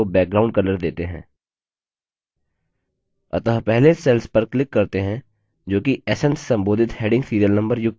अतः पहले cell पर click करते हैं जो कि sn से संबोधित heading serial number युक्त है